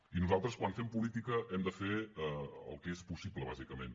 i nosaltres quan fem política hem de fer el que és possible bàsicament